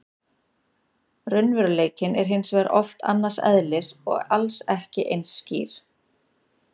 Raunveruleikinn er hins vegar oft annars eðlis og alls ekki eins skýr.